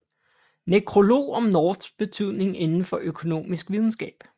Nekrolog om Norths betydning indenfor økonomisk videnskab